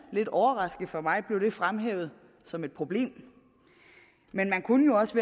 lidt overraskende for mig fremhævet som et problem man kunne jo også